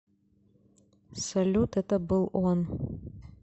салют это был он